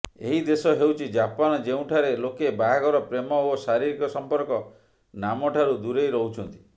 ଏହି ଦେଶ ହେଉଛି ଜାପାନ ଯେଉଁଠାରେ ଲୋକେ ବାହାଘର ପ୍ରେମ ଓ ଶାରୀରିକ ସଂପର୍କ ନାମଠାରୁ ଦୂରେଇ ରହୁଛନ୍ତି